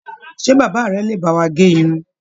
Ṣe bàbá rẹ̀ le bá wà gé Irun?